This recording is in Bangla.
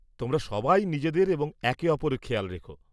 তোমরা সবাই নিজেদের এবং একে অপরের খেয়াল রেখ।